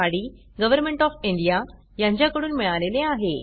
D government of India कडून मिळालेले आहे